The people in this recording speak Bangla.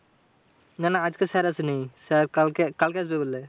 না না আজকে স্যার আসেনি, স্যার কালকে কালকে আসবে বললে।